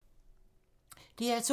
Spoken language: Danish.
DR2